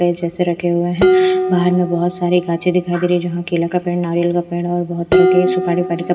जैसे रखे हुए हैं बाहर में बहुत सारी गांचे दिखाई दे रही है जहां केला का पेड़ नारियल का पेड़ और बहुत तरह की सुपारी--